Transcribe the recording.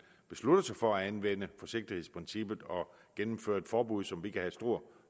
beslutter sig for at anvende forsigtighedsprincippet og gennemfører et forbud som vi kan have stor